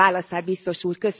Várom a válaszát, Biztos Úr!